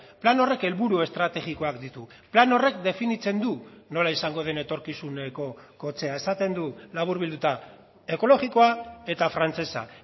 plan horrek helburu estrategikoak ditu plan horrek definitzen du nola izango den etorkizuneko kotxea esaten du laburbilduta ekologikoa eta frantsesa